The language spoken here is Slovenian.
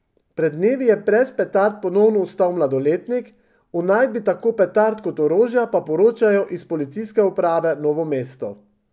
Pred dnevi je brez petard ponovno ostal mladoletnik, o najdbi tako petard kot orožja pa poročajo iz Policijske uprave Novo mesto.